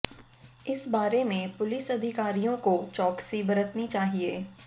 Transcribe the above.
इस बारे में पुलिस अधिकारियों को चौकसी बरतनी चाहिए